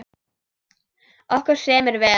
Okkur semur vel